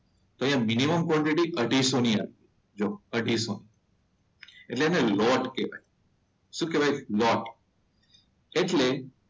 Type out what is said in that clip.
અહીંયા minimum quantity અઢીસો ની આવે સો જો અઢીસો. એટલે એને લોટ કહેવાય. શું કહેવાય? લોટ. એટલે